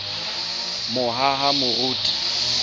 mohahamoriti